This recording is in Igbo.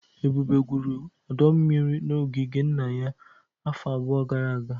Ebube gwuru ọdọ mmiri n'ogige nna ya afọ abụọ gara aga